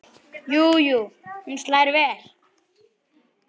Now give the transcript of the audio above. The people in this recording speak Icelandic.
Jú jú, hún slær vel!